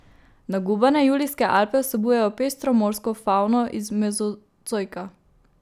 Nagubane Julijske Alpe vsebujejo pestro morsko favno iz mezozoika.